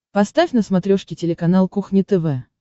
поставь на смотрешке телеканал кухня тв